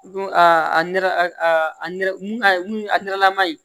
Don a nɛrɛ a nɛrɛ mun a mun a nɛrɛlama ye